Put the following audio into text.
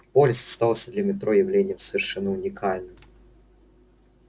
полис оставался для метро явлением совершенно уникальным